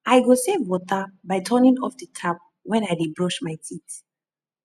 i go save water by turning off di tap when i dey brush my teeth